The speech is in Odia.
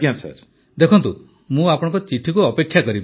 ପ୍ରଧାନମନ୍ତ୍ରୀ ଦେଖନ୍ତୁ ମୁଁ ଆପଣଙ୍କ ଚିଠିକୁ ଅପେକ୍ଷା କରିବି